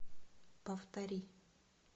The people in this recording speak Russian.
повтори